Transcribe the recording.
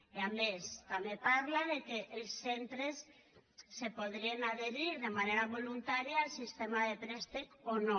i a més també parla que els centres se podrien adherir de manera voluntària al sistema de préstec o no